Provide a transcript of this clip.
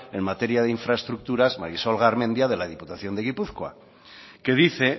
en materia de infraestructura marisol garmendia de la diputación de gipuzkoa que dice